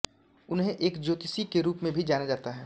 उन्हें एक ज्योतिषी के रूप में भी जाना जाता है